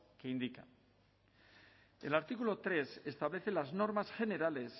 que indica el artículo tres establece las normas generales